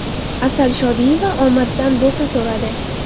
Asal Shodiyeva omaddan bo‘sa so‘radi.